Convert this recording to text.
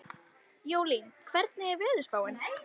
Jólín, hvernig er veðurspáin?